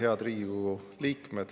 Head Riigikogu liikmed!